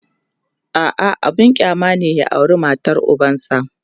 a'a abun kyama ne ya aura matar ubansa